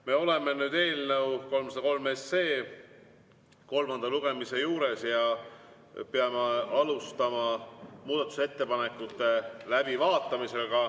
Me oleme eelnõu 303 kolmanda lugemise juures ja peame alustama muudatusettepanekute läbivaatamist.